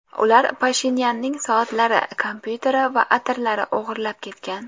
Ular Pashinyanning soatlari, kompyuteri va atirlari o‘g‘irlab ketgan .